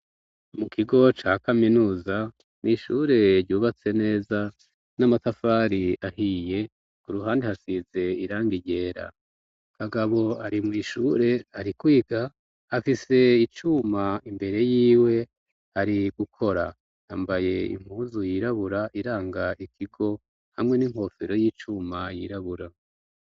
Mu kigo ca kaminuza, mw'ishure ryubatse neza n'amatafari ahiye ku ruhande hashize irangi ryera, kagabo ari mw'ishure ari kwiga afise icuma imbere yiwe ari gukora, yambaye impuzu yirabura iranga ikigo hamwe n'inkofero y'icuma yiraburao.